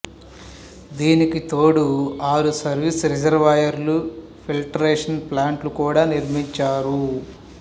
దీనికి తోడు ఆరు సర్వీసు రిజర్వాయిర్లు ఫిల్టరేషన్ ప్లాంట్లు కూడా నిర్మించారు